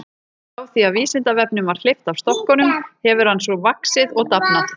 Frá því að Vísindavefnum var hleypt af stokkunum hefur hann svo vaxið og dafnað.